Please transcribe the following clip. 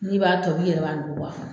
N'i b'a tobi, i yɛrɛ b'a nugu, bɔ a kɔnɔ.